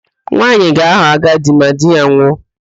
Nwaanyị ga-aghọ ajadi ma di ya nwụọ